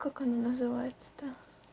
как она называется то